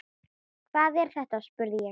Hvað er þetta spurði ég.